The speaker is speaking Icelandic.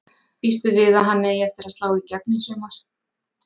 Býstu við að hann eigi eftir að slá í gegn í sumar?